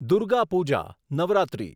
Durga Puja Navratri